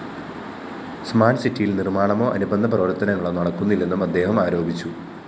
smart സിറ്റിയില്‍ നിര്‍മാണമോ അനുബന്ധ പ്രവര്‍ത്തനങ്ങളോ നടക്കുന്നില്ലെന്നും അദ്ദേഹം ആരോപിച്ചു